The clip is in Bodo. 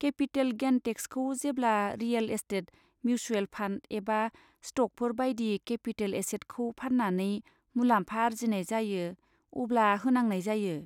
केपिटेल गेन टेक्सखौ जेब्ला रियेल एस्टेट, मिउसुएल फान्ड एबा स्ट'कफोर बायदि केपिटेल एसेटखौ फान्नानै मुलाम्फा आरजिनाय जायो अब्ला होनांनाय जायो।